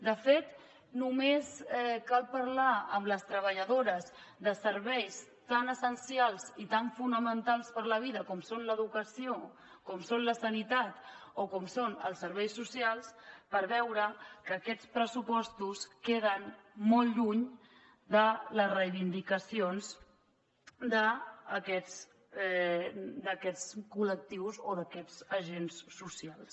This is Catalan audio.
de fet només cal parlar amb les treballadores de serveis tan essencials i tan fonamentals per a la vida com són l’educació com són la sanitat o com són els serveis socials per veure que aquests pressupostos queden molt lluny de les reivindicacions d’aquests col·lectius o d’aquests agents socials